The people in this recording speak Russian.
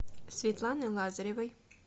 светланы лазаревой